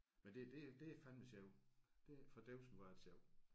Men det det det er fandeme sjovt det fordævsen hvor er det sjovt